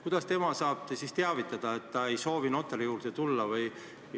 Kuidas nemad saavad teada anda, et nad ei soovi notari juurde tulla?